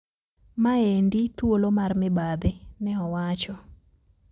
Maendi thuolo mar mibadhi," neowacho.